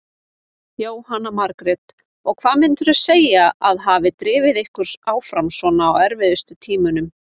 Jóhanna Margrét: Og hvað myndirðu segja að hafi drifið ykkur áfram svona á erfiðustu tímunum?